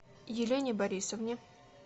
елене борисовне